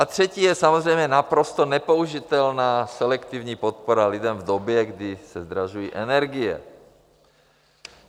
A třetí je samozřejmě naprosto nepoužitelná selektivní podpora lidem v době, kdy se zdražují energie.